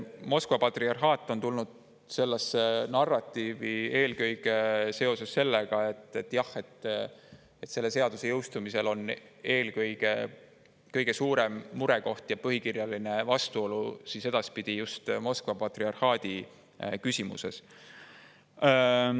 Moskva patriarhaat on tulnud sellesse narratiivi eelkõige seoses sellega, et selle seaduse jõustumise korral on kõige suurem murekoht ja põhikirjaline vastuolu edaspidi just Moskva patriarhaadi küsimuses.